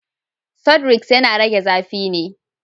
Sudrex yana rage zafi ne.